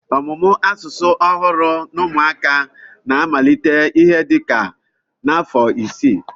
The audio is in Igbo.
Ọmụmụ asụsụ ọhụrụ n'ụmụaka na-amalite ihe dị ka n'afọ isii